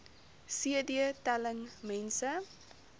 cd telling mense